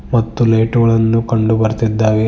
ಮತ್ತು ಲೈಟ್ ಗಳನ್ನು ಕಂಡು ಬರುತ್ತಿದ್ದಾರೆ.